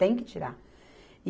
Tem que tirar.